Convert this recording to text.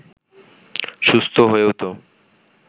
সুস্থ হয়েও তো